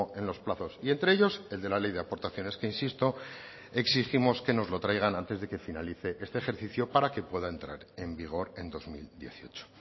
en los plazos y entre ellos el de la ley de aportaciones que insisto exigimos que nos lo traigan antes de que finalice este ejercicio para que pueda entrar en vigor en dos mil dieciocho